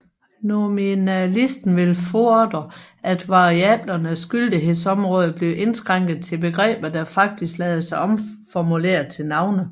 Nominalisten vil fordre at variablernes gyldighedsområde bliver indskrænket til begreber der faktisk lader sig omformulere til navne